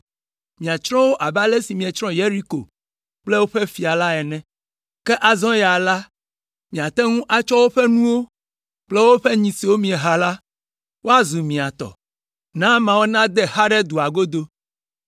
Miatsrɔ̃ wo abe ale si mietsrɔ̃ Yeriko kple woƒe fia ene. Ke azɔ ya la, miate ŋu atsɔ woƒe nuwo kple woƒe nyi siwo mieha la woazu mia tɔ. Na ameawo nade xa ɖe dua godo.”